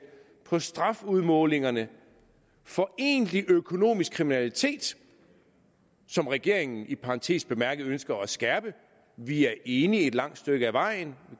på strafudmålingerne for egentlig økonomisk kriminalitet som regeringen i parentes bemærket ønsker at skærpe vi er enige et langt stykke ad vejen vi